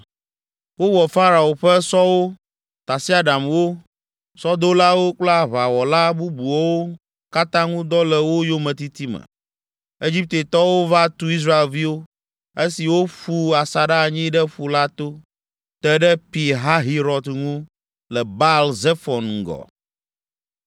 Wowɔ Farao ƒe sɔwo, tasiaɖamwo, sɔdolawo kple aʋawɔla bubuawo katã ŋu dɔ le wo yometiti me. Egiptetɔwo va tu Israelviwo, esi woƒu asaɖa anyi ɖe ƒu la to, te ɖe Pi Hahirɔt ŋu le Baal Zefon ŋgɔ.